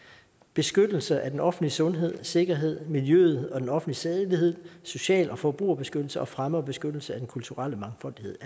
beskyttelse af den offentlige sundhed og sikkerhed miljøet og den offentlige sædelighed social og forbrugerbeskyttelse og fremme af beskyttelse af den kulturelle mangfoldighed